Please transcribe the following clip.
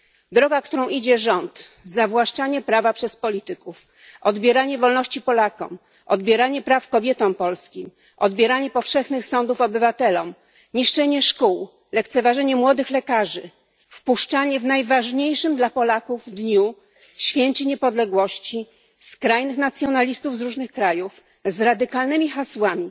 Droga, którą idzie rząd zawłaszczanie prawa przez polityków, odbieranie wolności Polakom, odbieranie praw kobietom polskim, odbieranie powszechnych sądów obywatelom, niszczenie szkół, lekceważenie młodych lekarzy, wpuszczanie w najważniejszym dla Polaków dniu Święcie Niepodległości skrajnych nacjonalistów z różnych krajów z radykalnymi hasłami,